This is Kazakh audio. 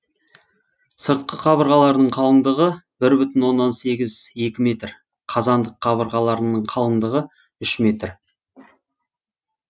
сыртқы қабырғаларының қалындығы бір бүтін оннан сегіз екі метр қазандық қабырғаларының қалындығы үш метр